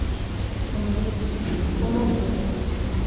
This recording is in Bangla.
কোনোদিন কিছু না কোনদিন কিছু না ।